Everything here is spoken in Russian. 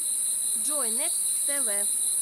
джой некст тэ вэ